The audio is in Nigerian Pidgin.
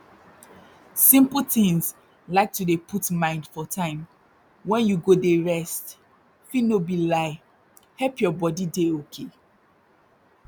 simple tins like to dey put mind for time wey you go dey rest fit no be lie help your body dey okay